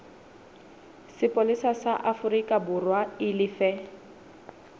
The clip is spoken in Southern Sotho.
sepolesa sa aforikaborwa e lefe